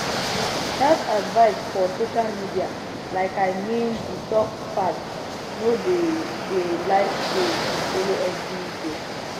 health advice for social media like i mean detox fads no de de like save to follow every dey